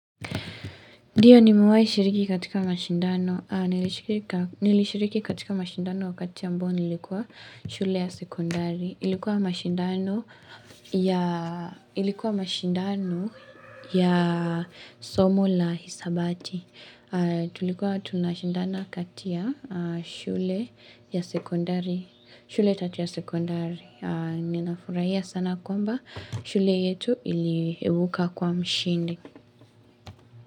Ndiyo nimewai shiriki katika mashindano, nilishiriki katika mashindano wakati ambao nimilikuwa shule ya sekondari, ilikuwa mashindano ya somo la hisabati, tulikuwa tunashindana kati ya shule ya sekondari, shule tatu ya sekondari, ninafuraia sana kwamba shule yetu ilibuka kuwa mshindi.